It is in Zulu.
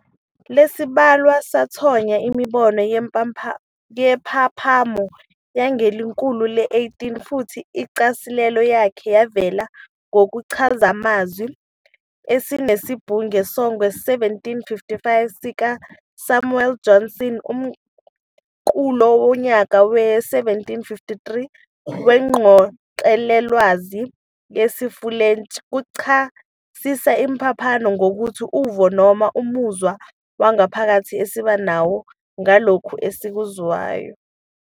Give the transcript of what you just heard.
Lesibhalwa sathonya imibono yempaphamo yangekhulu le-18, futhi incasiselo yakhe yavela kusichazamazwi esinesibunge sangowe-1755 sika Samuel Johnson. Umqulu wonyaka we-1753 weNgqoqelolwazi yesifulentshi uchasisa impaphamo ngokuthi "uvo noma umuzwa wangaphakathi esiba nawo ngalokho esikwenzeyo."